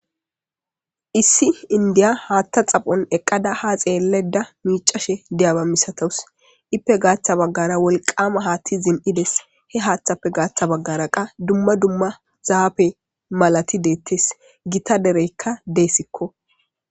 Issi indiya haattha xaphon eqqada ha xeelleda miicashe deyaba misatous ippe gaaththa baggara wolqama haatti zin7ides he haaththappe gaaththa baggara qa dumma dumma zaape malati deettes gita dereykka deessikko.